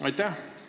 Aitäh!